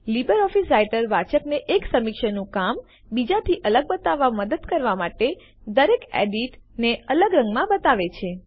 LibreOffice Writer વાચકને એક સમીક્ષકનું કામ બીજા થી અલગ બતાવવામાં મદદ કરવા માટે દરેક એડિટ ને અલગ રંગમાં બતાવે છે